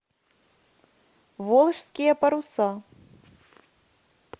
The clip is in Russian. волжские паруса